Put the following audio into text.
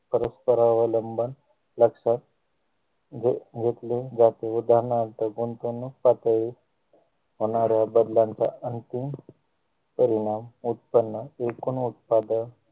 परस्परावलंबन लक्षात जे घेतले जाते उदाहरणार्थ गुंतवणूक पातळी होणाऱ्या बदलांचा अंतिम परिणाम उत्पन्न एकूण उत्पादक